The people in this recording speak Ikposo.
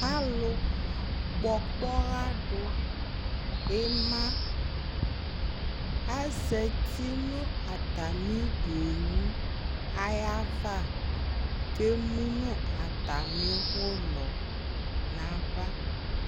Alʋkpɔ ɔkpɔɣa dʋ ɩma azati nʋ atamɩ owu ayava kʋ emu nʋ atamɩ ʋlɔ nʋ ava